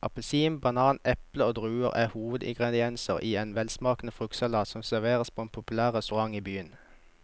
Appelsin, banan, eple og druer er hovedingredienser i en velsmakende fruktsalat som serveres på en populær restaurant i byen.